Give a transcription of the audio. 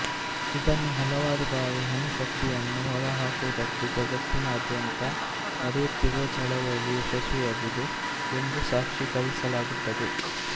ಇದನ್ನೇ ಹಲವಾರು ಬಾರಿ ಅಣುಶಕ್ತಿಯನ್ನು ಹೊರ ಹಾಕುವುದಕ್ಕೆ ಜಗತ್ತಿನಾದ್ಯಂತ ನಡೆಯುತ್ತಿರುವ ಚಳವಳಿ ಯಶಸ್ವಿಯಾಗಿದೆ ಎಂದು ಸಾಕ್ಷಿಕರಿಸಲಾಗುತ್ತದೆ